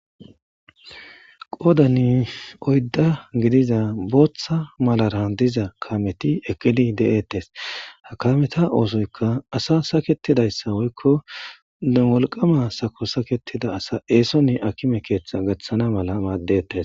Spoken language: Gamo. Qoodani oydda gidiza booththa malara diza kameti ekidi de'ettes ha kameta oosoyka asa saketidayssa woykko wolqama sako saketida asa eesonni akime keeththa gaththana mala maaddettes